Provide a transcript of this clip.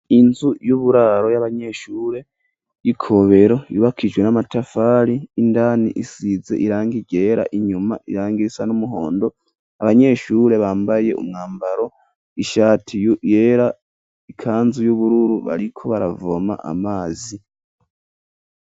Inzu y'uburaro y'abanyeshure y'Ikobero yubakishijwe n'amatafari, indani isize irangi ryera, inyuma irangi risa n'umuhondo ,abanyeshure bambaye umwambaro ,ishati yera ikanzu y'ubururu bariko baravoma amazi.